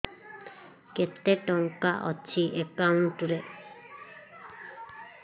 କେତେ ଟଙ୍କା ଅଛି ଏକାଉଣ୍ଟ୍ ରେ